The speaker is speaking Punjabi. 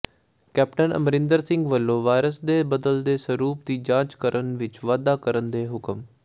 ਕੈਪਟਨ ਅਮਰਿੰਦਰ ਸਿੰਘ ਵੱਲੋਂ ਵਾਇਰਸ ਦੇ ਬਦਲਦੇ ਸਰੂਪ ਦੀ ਜਾਂਚ ਵਿੱਚ ਵਾਧਾ ਕਰਨ ਦੇ ਹੁਕਮ